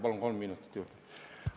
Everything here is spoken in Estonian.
Palun kolm minutit juurde!